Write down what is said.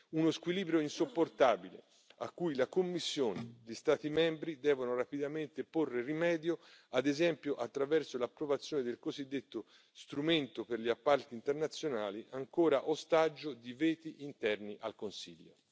Uno squilibrio insopportabile a cui la Commissione e gli Stati membri devono rapidamente porre rimedio, ad esempio attraverso l'approvazione del cosiddetto strumento per gli appalti internazionali, ancora ostaggio di veti interni al Consiglio.